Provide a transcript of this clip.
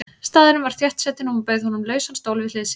Staðurinn var þéttsetinn og hún bauð honum lausan stól við hlið sér.